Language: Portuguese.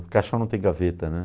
Caixão não tem gaveta, né?